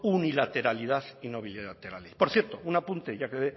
unilateralidad y no bilateralidad por cierto un apunte ya que